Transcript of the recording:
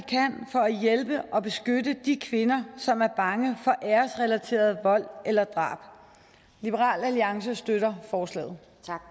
for at hjælpe og beskytte de kvinder som er bange for æresrelateret vold eller drab liberal alliance støtter forslaget